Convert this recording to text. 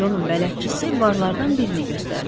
Conun bələdçisi barlardan birini göstərdi.